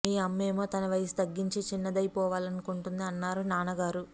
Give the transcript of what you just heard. మీ అమ్మేమో తన వయసు తగ్గించి చిన్నదైపోవాలను కుంటోంది అన్నారు నాన్నగారు